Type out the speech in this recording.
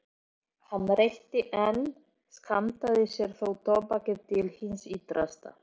Hann reykti en skammtaði sér þó tóbakið til hins ítrasta.